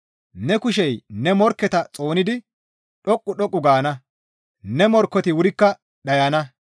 Ne kushey ne morkketa xoonidi dhoqqu dhoqqu gaana; ne morkketi wurikka dhayana.